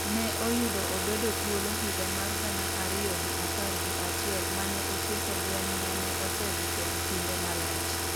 ne oyudo obedo thuolo higa mar gana ariyo gi apar gi achiel mane otieko lweny mane osedhi kuom kinde malach